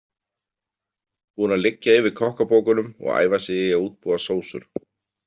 Búinn að liggja yfir kokkabókunum og æfa sig í að útbúa sósur.